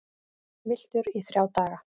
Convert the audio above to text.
Villtur í þrjá daga